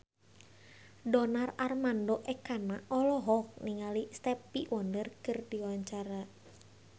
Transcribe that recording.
Donar Armando Ekana olohok ningali Stevie Wonder keur diwawancara